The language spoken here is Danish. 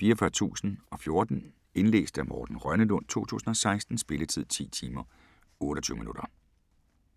44014 Indlæst af Morten Rønnelund, 2016. Spilletid: 10 timer, 28 minutter.